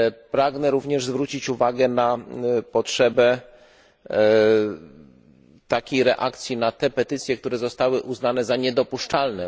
Pragnę również zwrócić uwagę na potrzebę takiej reakcji na te petycje, które zostały uznane za niedopuszczalne.